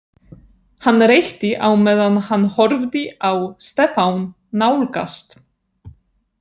Hann reykti á meðan hann horfði á Stefán nálgast.